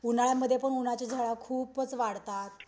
उन्हाळ्यामध्ये पण उन्हाच्या झळा खूपच वाढतात.